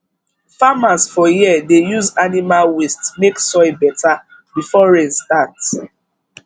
farmers for here dey use animal waste make soil better before rain start